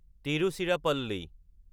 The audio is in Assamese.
তিৰুচিৰাপল্লী